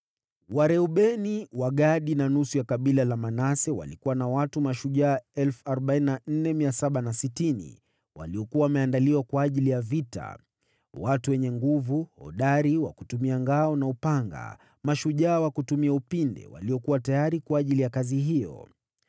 Wareubeni, Wagadi na nusu ya kabila la Manase walikuwa na watu mashujaa 44,760 waliokuwa wameandaliwa kwa ajili ya vita: watu wenye nguvu, hodari wa kutumia ngao na upanga, mashujaa wa kutumia upinde, waliokuwa tayari kwa ajili ya kazi hiyo.